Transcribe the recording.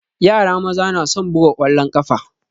Yara maza na son buga ƙwalon ƙafa